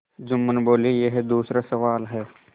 जुम्मन बोलेयह दूसरा सवाल है